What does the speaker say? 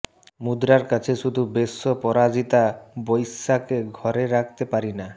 মুদ্রার কাছে শুধু বেশ্য পরাজিতা বৈশ্যাকে ঘরে রাখতে পারিনা